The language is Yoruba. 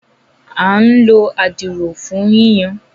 À ǹ ló à. dirọ fun yiyan.